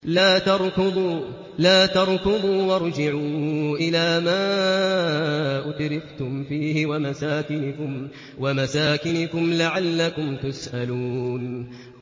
لَا تَرْكُضُوا وَارْجِعُوا إِلَىٰ مَا أُتْرِفْتُمْ فِيهِ وَمَسَاكِنِكُمْ لَعَلَّكُمْ تُسْأَلُونَ